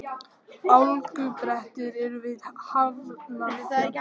Hálkublettir eru við Hafnarfjall